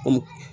Komu